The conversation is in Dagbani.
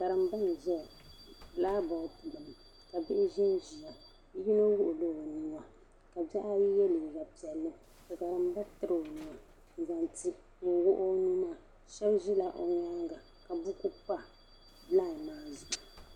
Karimba. nzaya, bilakbɔd gbuni kabi hi zanziya. yino shɛla. onua ka bihi ayi. ye liiga piɛlli ka karimba tiri onua n zaŋ ti ŋun wuɣi. onuu maa. shab zi o nyaaŋa. kabu ku pa. layi maa zuɣu